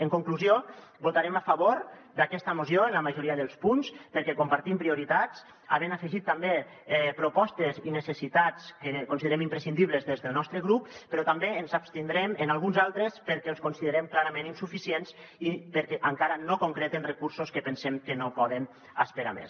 en conclusió votarem a favor d’aquesta moció en la majoria dels punts perquè compartim prioritats havent afegit també propostes i necessitats que considerem imprescindibles des del nostre grup però també ens abstindrem en alguns altres perquè els considerem clarament insuficients i perquè encara no concreten recursos que pensem que no poden esperar més